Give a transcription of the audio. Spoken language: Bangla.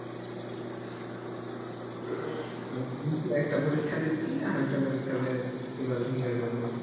একটা পরীক্ষা দিচ্ছি আর একটা পরীক্ষার নেওয়া জন্য বসতে